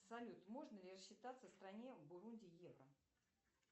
салют можно ли рассчитаться в стране бурунди евро